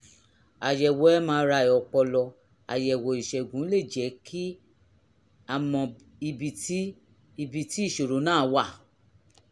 àyẹ̀wò mri ọpọlọ àyẹ̀wò ìṣègùn lè jẹ́ ki mọ ibi tí ibi tí ìṣòro náà wà